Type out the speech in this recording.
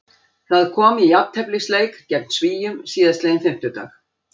Það kom í jafnteflisleik gegn Svíum síðastliðinn fimmtudag.